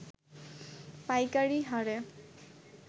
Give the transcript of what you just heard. পাইকারী হারে